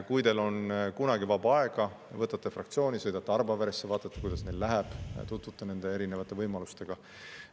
Kui teil on kunagi vaba aega, ehk võtate fraktsiooni, sõidate Arbaveresse, vaatate, kuidas neil läheb, tutvute nende erinevate võimalustega.